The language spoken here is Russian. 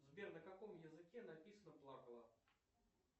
сбер на каком языке написан плакала